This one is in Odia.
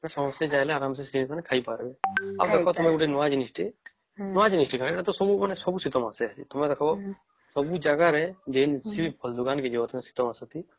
ସମସ୍ତେ ଚାହିଁଲେ ଆରାମ ସେ ଖାଇ ପରିବା ଆଉ ଗୋଟେ ନୂଆ ଜିନିଷ ବିତେ ନୂଆ ଜିନଷ ଟେ କଣ ଏଟା ତ ସବୁ ଶୀତ ମାସେ ତୁମେ ଦେଖା ସବୁ ଜାଗାରେ କିଛି ବି ଫଳ ଦୋକାନ ଥି ଜୈସେ ଶୀତ ଦିନ ଥି